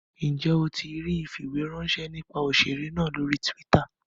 Njẹ o tí ríi ifiweranṣẹ nípa òṣèré náà lórí twitter?